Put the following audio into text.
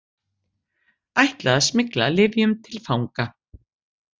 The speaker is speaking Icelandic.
Ætlaði að smygla lyfjum til fanga